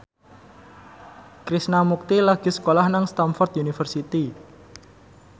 Krishna Mukti lagi sekolah nang Stamford University